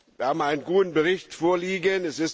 Wir haben einen guten Bericht vorliegen.